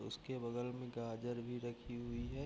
उसके बगल में गाजर भी रखी हुई है।